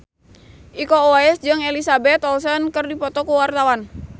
Iko Uwais jeung Elizabeth Olsen keur dipoto ku wartawan